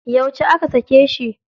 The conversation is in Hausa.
Yauce aka sake shi?